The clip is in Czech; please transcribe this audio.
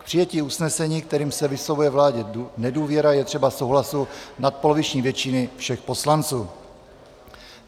K přijetí usnesení, kterým se vyslovuje vládě nedůvěra, je třeba souhlasu nadpoloviční většiny všech poslanců.